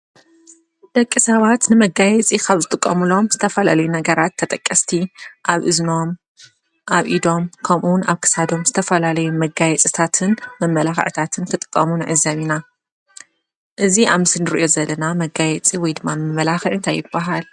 ደቂ ሰባት ንመጋየፂ ካብ ዝጥቀምሎም ዝተፈላላዩነገራት ተጠቀስቲ ኣብ እዝኖም፣ ኣብ ኢዶም፣ ከምኡ እውን ኣብ ክሳዶም ዝተፈላላዩ መጋየፅታትንን መመላኽዕታትን እትጥቀሙ ንዕዘብ ኢና። እዚ ኣብ ምስሊ እንሪኦ ዘለና መጋየፂ ወይ ድማ መማላኽዒ እንታይ ይብሃል?